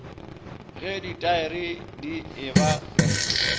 ge ditaere di e ba